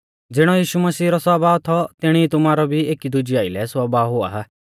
ज़िणौ यीशु मसीह रौ स्वभाव थौ तिणी ई तुमारौ भी एकी दुज़ेऊ आइलै स्वभाव हुआ